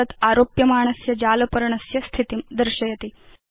तत् आरोप्यमाणस्य जालपर्णस्य स्थितिं दर्शयति